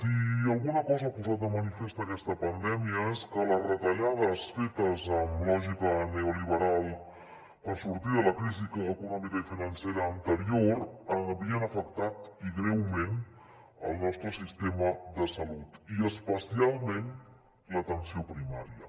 si alguna cosa ha posat de manifest aquesta pandèmia és que les retallades fetes amb lògica neoliberal per sortir de la crisi econòmica i financera anterior havien afectat i greument el nostre sistema de salut i especialment l’atenció primària